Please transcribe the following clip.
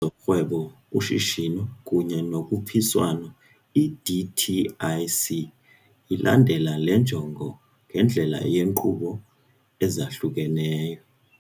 zoRhwebo, uShishino kunye noKhuphiswano, i-DTIC, lilandela le njongo ngendlela yeenkqubo ezahlukeneyo.